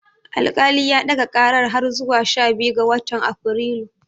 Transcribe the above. Alkali ya ɗaga ƙarar har zuwa sha biyu ga watan Afrilu.